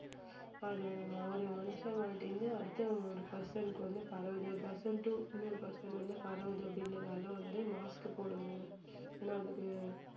அது ஒரு மனுஷங்கள்ட்ட இருந்து அடுத்த ஒரு person க்கு வந்து பரவுது ஒரு person to இன்னொரு person வந்து பரவுது அப்படின்றதால வந்து mask போடணும் ஏன்னா அது